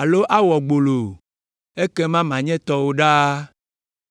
alo awɔ gbolo o, ekema manye tɔwò ɖaa.”